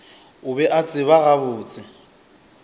o be a tseba gabotse